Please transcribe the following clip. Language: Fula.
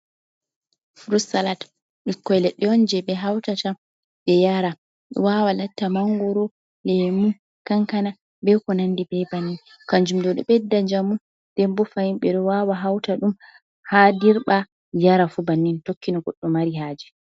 Frut salat ɓikkon leɗɗe on je ɓe hautata ɓe yara wawa latta mangoro, lemu, kankana, be ko nandi be bannin kanjum ɗo, ɗo ɓedda njamu den bo fahin ɓeɗo wawa hauta ɗum ha dirɓa yara fu bannin tokki no Goɗɗo mari haje.